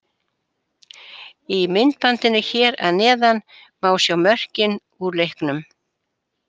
Í myndbandinu hér að neðan má sjá mörkin úr leiknum.